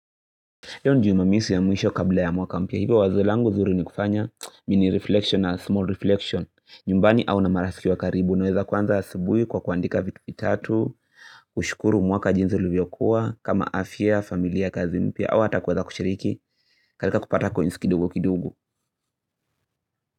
Leo ni jumamosi ya mwisho kabla ya mwaka mpya, hivo wazo langu zuri ni kufanya mini reflection na small reflection, nyumbani au na marafiki wa karibu, naweza kwanza asubuhi kwa kuandika vitupi tatu, kushukuru mwaka jinsi ulivyokuwa, kama afya, familia, kazi mpya, au hata kwa za kushiriki, katika kupata coins kidogo kidogo.